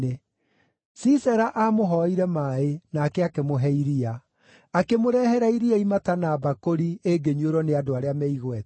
Sisera aamũhoire maaĩ, nake akĩmũhe iria; akĩmũrehera iria imata na mbakũri ĩngĩnyuĩrwo nĩ andũ arĩa me igweta.